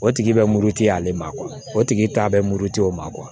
O tigi bɛ muruti ale ma o tigi t'a bɛ muruti o ma